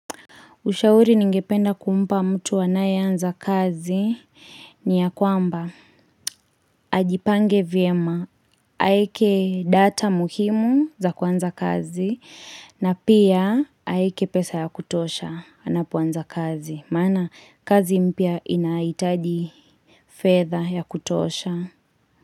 Ushauri ningependa kumpa mtu anae anza kazi ni ya kwamba ajipange vyema. Aeke data muhimu za kuanza kazi na pia aeke pesa ya kutosha anapoanza kazi. Maana kazi mpya inahitaji fedha ya kutosha.